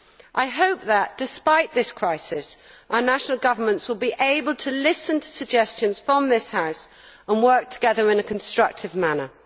I hope that despite this crisis, our national governments will be able to listen to suggestions from this House and work together in a constructive manner.